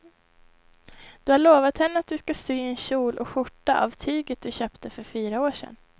Du har lovat henne att du ska sy en kjol och skjorta av tyget du köpte för fyra år sedan.